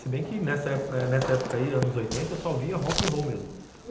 Se bem que nessa nessa época aí, anos oitenta, eu só ouvia rock'n'roll mesmo.